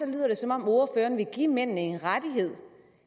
lyder det som om ordføreren vil give mændene en rettighed